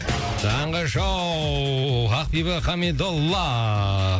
таңғы шоу ақбибі қамидолла